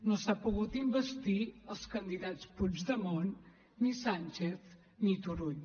no s’ha pogut investir els candidats puigdemont ni sànchez ni turull